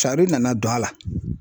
nana don a la